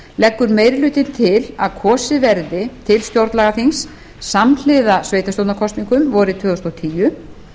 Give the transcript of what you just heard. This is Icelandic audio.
leggur meiri hlutinn til að kosið verði til stjórnlagaþings samhliða sveitarstjórnarkosningum vorið tvö þúsund og tíu